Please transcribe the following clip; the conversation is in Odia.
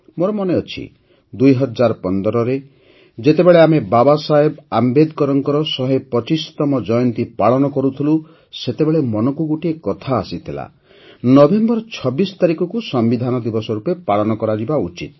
ମୋର ମନେଅଛି ୨୦୧୫ରେ ଯେତେବେଳେ ଆମେ ବାବା ସାହେବ ଆମ୍ବେଦକରଙ୍କ ୧୨୫ତମ ଜୟନ୍ତୀ ପାଳନ କରୁଥିଲୁ ସେତେବେଳେ ମନକୁ ଗୋଟିଏ କଥା ଆସିଥିଲା ଯେ ନଭେମ୍ବର ୨୬ ତାରିଖକୁ ସମ୍ବିଧାନ ଦିବସ ରୂପେ ପାଳନ କରାଯିବା ଉଚିତ